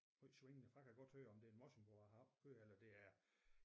Højt svingende for jeg kan godt høre om det er en morsingbo jeg har oppe og køre eller det er